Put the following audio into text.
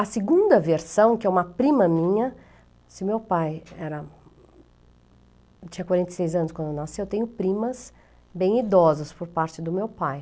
A segunda versão, que é uma prima minha, se meu pai era... Eu tinha quarenta e seis anos quando nasci, eu tenho primas bem idosas por parte do meu pai.